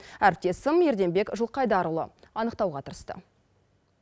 әріптесім ерденбек жылқайдарұлы анықтауға тырысты